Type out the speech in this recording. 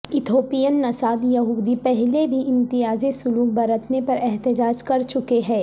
Ethiopian نژاد یہودی پہلی بھی امتیازی سلوک برتنے پر احتجاج کر چکے ہیں